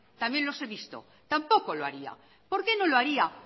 también los he visto tampoco lo haría por qué no lo haría